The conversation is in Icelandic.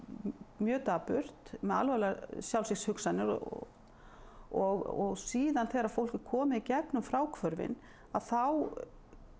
mjög dapurt með alvarlegar sjálfsvígshugsanir og og síðan þegar fólk er komið í gegn um fráhvörfin þá